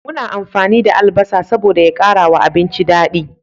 Muna amfani da albasa saboda da ya kara abinci dadi